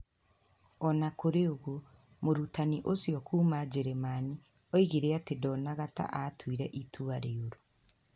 O na kũrĩ ũguo, mũrutani ũcio kuuma Njĩrĩmani oigire atĩ ndonaga ta aatuire itua rĩũru.